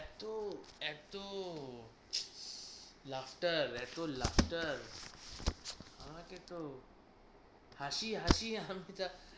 এত এত এত ter এত ter আমাকে তো হাসিয়ে হাসিয়ে এখন থিকা